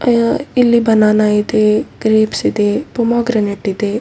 ಆಂ ಇಲ್ಲಿ ಬನಾನಾ ಇದೆ ಗ್ರೇಪ್ಸ್‌ ಇದೆ ಪೊಮಾಗ್ರೆನೇಟ್‌ ಇದೆ.